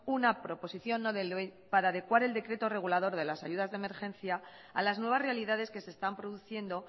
una proposición no de ley para adecuar el decreto regulador de las ayudas de emergencia a las nuevas realidades que se están produciendo